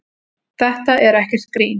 Þetta er ekkert grín.